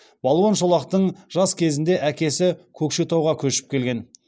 балуан шолақтың жас кезінде әкесі көкшетауға көшіп келген